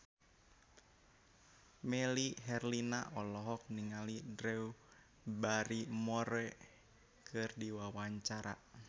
Melly Herlina olohok ningali Drew Barrymore keur diwawancara